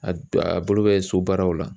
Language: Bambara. A a bolo bɛ so baaraw la